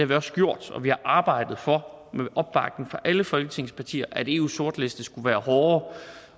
vi også gjort og vi har arbejdet for med opbakning fra alle folketingets partier at eus sortliste skulle være hårdere